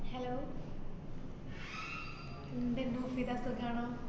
എന്തേനു ഫിദ സുഖം ആണോ?